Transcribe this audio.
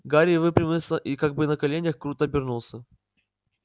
гарри выпрямился и как был на коленях круто обернулся